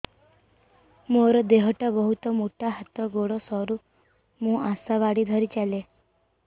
ମୋର ଦେହ ଟା ବହୁତ ମୋଟା ହାତ ଗୋଡ଼ ସରୁ ମୁ ଆଶା ବାଡ଼ି ଧରି ଚାଲେ